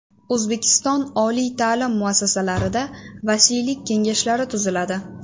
O‘zbekiston oliy ta’lim muassasalarida vasiylik kengashlari tuziladi.